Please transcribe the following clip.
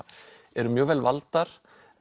eru mjög vel valdar